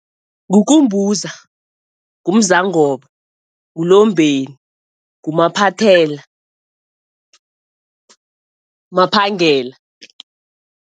NguKumbuza, nguMzangobo, nguLombeni, nguMaphathela, Maphangela.